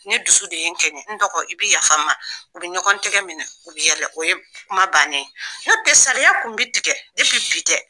Ne dusu de ye n kɛɲɛn, n dɔgɔ i bɛ yafa un ma u bɛ ɲɔgɔntigɛ minɛ u bɛ yɛlɛ o ye kuma bannen ye. Nɔ tɛ sariya kun bɛ tigɛ bi tɛ.